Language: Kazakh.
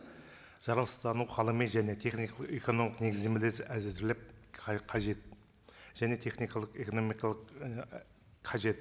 жаралыстану ғылыми және техникалық экономикалық негіздемелер әзірлеп қажет және техникалық экономикалық қажет